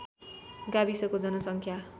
गाविसको जनसङ्ख्या